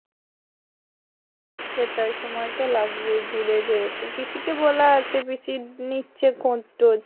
সেটাই সময় তো লাগবেই দূরে যেহেতু পিসি কে বলা আছে যে পিসির কষ্ট হচ্ছে।